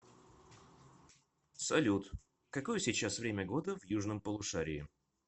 салют какое сейчас время года в южном полушарии